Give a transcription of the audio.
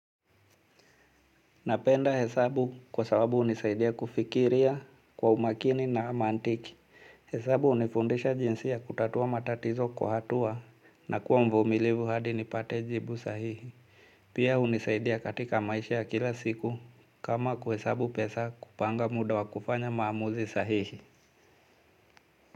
Napenda hesabu kwa sababu hunisaidia kufikiria kwa umakini na mantiki. Hesabu hunifundisha jinsi ya kutatua matatizo kwa hatua na kuwa mvumilivu hadi nipate jibu sahihi. Pia hunisaidia katika maisha ya kila siku kama kuhesabu pesa kupanga muda wa kufanya maamuzi sahihi.